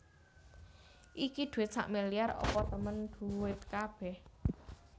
Iki dhuwit sakmiliar apa temen dhuwit kabeh